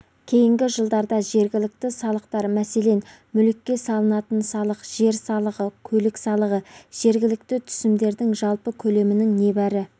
кейінгі жылдарда жергілікті салықтар мәселен мүлікке салынатын салық жер салығы көлік салығы жергілікті түсімдердің жалпы көлемінің небәрі